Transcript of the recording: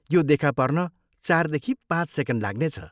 यो देखा पर्न चारदेखि पाँच सेकेन्ड लाग्नेछ।